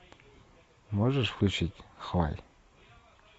можешь включить хваль